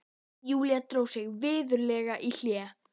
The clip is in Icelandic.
Júlía dró sig virðulega í hlé.